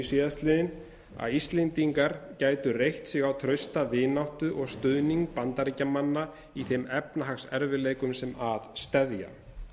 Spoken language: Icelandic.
síðastliðinn að íslendingar gætu reitt sig á trausta vináttu og stuðning bandaríkjamanna í þeim efnahagserfiðleikum sem að steðja